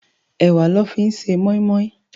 Èwá lò fi n sé mòimòi